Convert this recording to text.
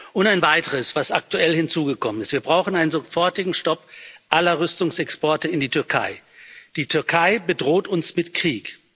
Und ein Weiteres, was aktuell hinzugekommen ist Wir brauchen einen sofortigen Stopp aller Rüstungsexporte in die Türkei. Die Türkei bedroht uns mit Krieg.